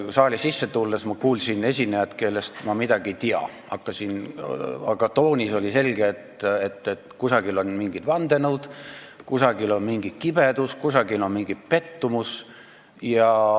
Saali tulles ma kuulsin esinejat, kellest ma midagi ei tea, aga tema toonist oli selge, et kusagil on mingid vandenõud, kusagil on mingi kibedus, kusagil on mingi pettumus.